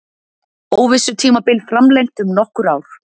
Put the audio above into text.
Óvissutímabil framlengt um nokkur ár